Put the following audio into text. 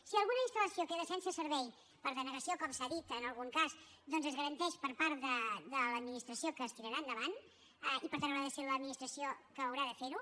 si alguna instalsense servei per denegació com s’ha dit en algun cas doncs es garanteix per part de l’administració que es tirarà endavant i per tant haurà de ser l’administració la que haurà de fer ho